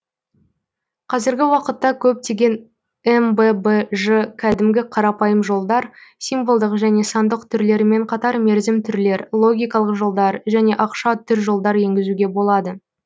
қазіргі уақытта көптеген мббж кәдімгі қарапайым жолдар символдық және сандық түрлерімен қатар мерзім түрлер логикалық жолдар және ақша түр жолдар енгізуге болады